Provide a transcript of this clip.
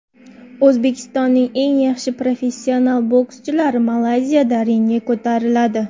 O‘zbekistonning eng yaxshi professional bokschilari Malayziyada ringga ko‘tariladi.